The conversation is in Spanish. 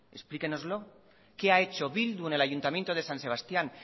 explíquenoslo qué ha hecho bildu en el ayuntamiento de san sebastián